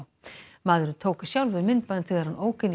maðurinn tók sjálfur myndband þegar hann ók inn í